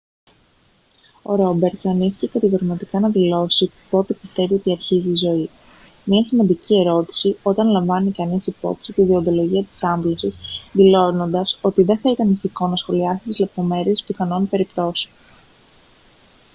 ο ρόμπερτς αρνήθηκε κατηγορηματικά να δηλώσει πότε πιστεύει ότι αρχίζει η ζωή μια σημαντική ερώτηση όταν λαμβάνει κανείς υπόψη τη δεοντολογία της άμβλωσης δηλώνοντας ότι δεν θα ήταν ηθικό να σχολιάσει τις λεπτομέρειες πιθανών περιπτώσεων